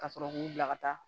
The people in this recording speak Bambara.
Ka sɔrɔ k'u bila ka taa